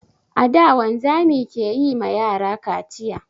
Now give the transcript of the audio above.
A da, wanzami ke yi ma yara kaciya.